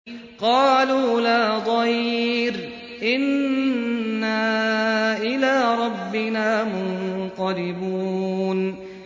قَالُوا لَا ضَيْرَ ۖ إِنَّا إِلَىٰ رَبِّنَا مُنقَلِبُونَ